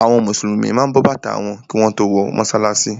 Àwọn Mùsùlùmí ma bọ bàtà wọn kí wọ́n tó wọ mọ́sálásí.